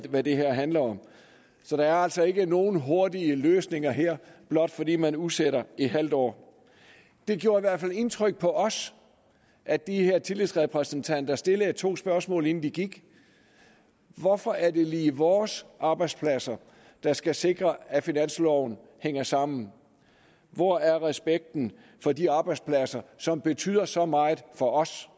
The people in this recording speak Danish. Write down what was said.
hvad det her handler om så der er altså ikke nogen hurtige løsninger her blot fordi man udsætter et halvt år det gjorde i hvert fald indtryk på os at de her tillidsrepræsentanter stillede to spørgsmål inden de gik hvorfor er det lige vores arbejdspladser der skal sikre at finansloven hænger sammen hvor er respekten for de arbejdspladser som betyder så meget for os